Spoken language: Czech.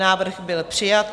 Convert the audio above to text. Návrh byl přijat.